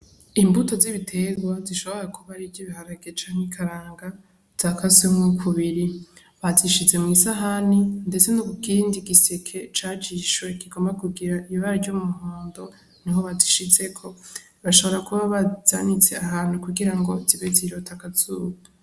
Imbuto z'ibiterwa zishobora kuba ariz'ibiharage cank'ikaranga zakaswemwo kubiri , bazishize mw'isahani ndetse no kukindi giseke cajishwe kigomba kugira ibara ry'umuhondo niho bazishizeko , bashobora kuba bazanits'ahantu kugira ngo zibe zirot'akazuba.